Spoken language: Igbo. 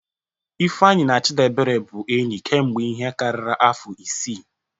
Ifeanyi na Chdiebere bụ enyi kemgbe ihe karịrị afọ isii.